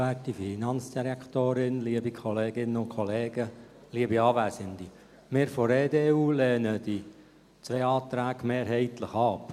Wir von der EDU lehnen die beiden Anträge mehrheitlich ab.